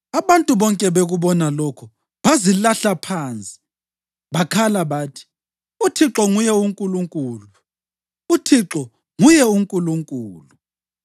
Abantu bonke bekubona lokhu, bazilahla phansi bakhala bathi, “ UThixo nguye uNkulunkulu! UThixo nguye uNkulunkulu!”